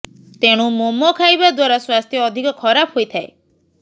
ତେଣୁ ମୋମୋ ଖାଇବା ଦ୍ବାରା ସ୍ବାସ୍ଥ୍ୟ ଅଧିକ ଖରାପ ହୋଇଥାଏ